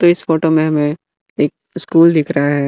तो इस फोटो में हमें एक स्कूल दिख रहा है।